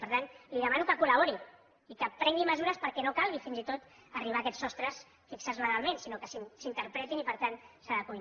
per tant li demano que col·labori i que prengui mesures perquè no calgui fins i tot arribar a aquests sostres fixats legalment sinó que s’interpretin i per tant s’adeqüin